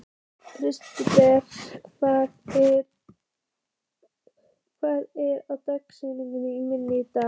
Kristberg, hvað er á dagatalinu mínu í dag?